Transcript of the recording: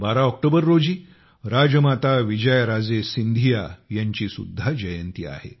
12 October रोजी राजमाता विजयाराजे सिंधिया यांची सुद्धा जयंती आहे